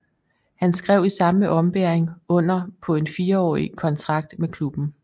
Han skrev i samme ombæring under på en fireårig kontrakt med klubben